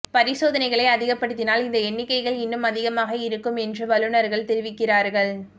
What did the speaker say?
பரிசோதனைகளை அதிகப்படுத்தினால் இந்த எண்ணிக்கைகள் இன்னும் அதிகமாக இருக்கும் என்று வல்லுநர்கள் தெரிவிக்கிறார்கள்